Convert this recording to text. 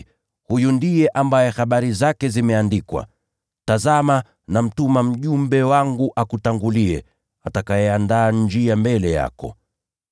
Huyu ndiye ambaye habari zake zimeandikwa: “ ‘Tazama, nitamtuma mjumbe wangu mbele yako, atakayetengeneza njia mbele yako.’